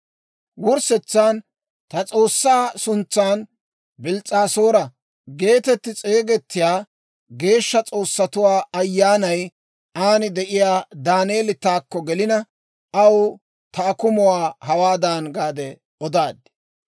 Wurssetsan ta s'oossaa suntsan Bils's'aasoora geetetti s'eegettiyaa, geeshsha s'oossatuwaa ayyaanay aan de'iyaa Daaneeli taakko gelina, aw ta akumuwaa hawaadan gaade odaad.